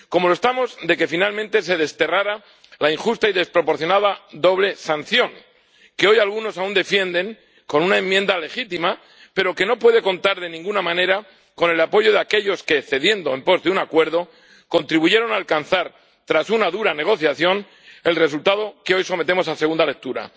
Como lo estamos de que finalmente se desterrara la injusta y desproporcionada doble sanción que hoy algunos aún defienden con una enmienda legítima pero que no puede contar, de ninguna manera, con el apoyo de aquellos que, cediendo en pos de un acuerdo, contribuyeron a alcanzar, tras una dura negociación, el resultado que hoy sometemos a segunda lectura.